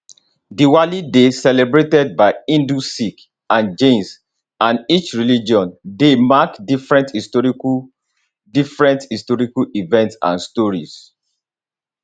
diwali dey celebrated by hindus sikhs and jains and each religion dey mark different historical different historical events and stories